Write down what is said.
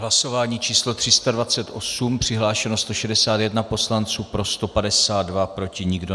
Hlasování číslo 328, přihlášeno 161 poslanců, pro 152, proti nikdo.